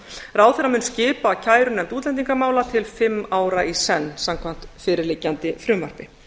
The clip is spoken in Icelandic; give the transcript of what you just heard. ráðherra mun skipa kærunefnd útlendingamála til fimm ára í senn samkvæmt fyrirliggjandi frumvarpi